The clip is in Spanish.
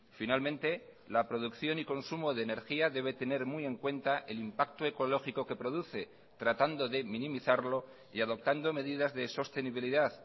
finalmente la producción y consumo de energía debe tener muy en cuenta el impacto ecológico que produce tratando de minimizarlo y adoptando medidas de sostenibilidad